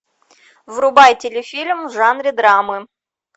врубай телефильм в жанре драмы